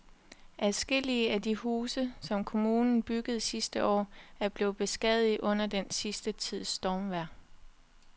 Adskillige af de huse, som kommunen byggede sidste år, er blevet beskadiget under den sidste tids stormvejr.